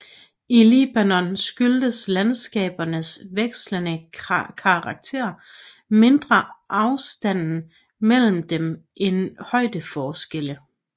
I Libanon skyldes landskabernes vekslende karakter mindre afstanden mellem dem end højdeforskelle